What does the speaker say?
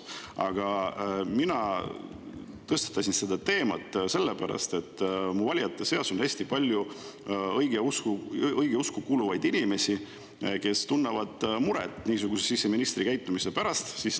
Aga mina tõstatasin selle teema sellepärast, et mu valijate seas on hästi palju õigeusklikke inimesi, kes tunnevad muret siseministri niisuguse käitumise pärast.